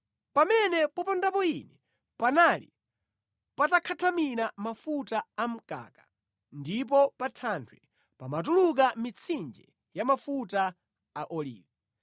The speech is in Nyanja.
pamene popondapo ine panali patakhathamira mafuta a mkaka, ndipo pa thanthwe pamatuluka mitsinje ya mafuta a olivi.